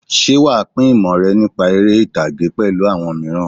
Ṣé wàá pín ìmọ̀ rẹ nípa eré-ìtàgé pẹ̀lú àwọn mìíràn?